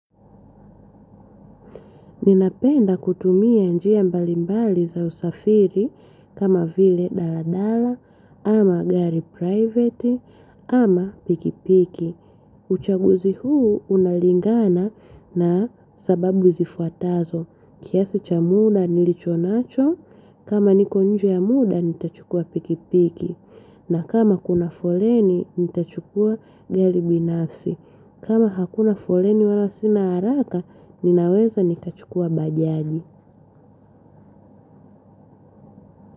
Ninapenda kutumia njia mbalimbali za usafiri kama vile daladala, ama gari private, ama pikipiki. Uchaguzi huu unalingana na sababu zifuatazo. Kiasi cha muda nilicho nacho, kama niko nje ya muda nitachukua pikipiki. Na kama kuna foleni nitachukua gari binafsi. Kama hakuna foleni wala sina haraka, ninaweza nikachukua bajaji.